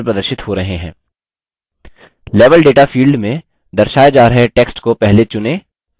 level data field में दर्शाए जा रहे text को पहले चुनें और मिटायें